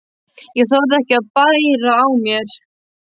Ég þorði ekki að bæra á mér.